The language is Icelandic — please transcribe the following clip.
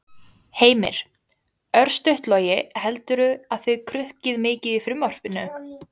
Heimir: Örstutt Logi, heldurðu að þið krukkið mikið frumvarpinu?